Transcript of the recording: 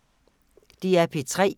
DR P3